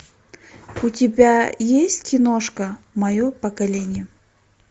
у тебя есть киношка мое поколение